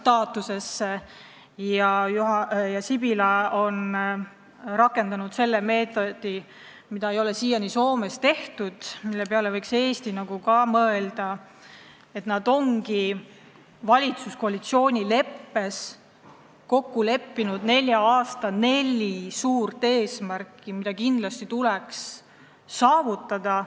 Peaminister Sipilä on rakendanud meetodit, mida ei ole siiani Soomes rakendatud ja mille peale võiks ka Eesti mõelda: nad on valitsuskoalitsiooni leppes kindlaks määranud nelja aasta neli suurt eesmärki, mis kindlasti tuleks saavutada.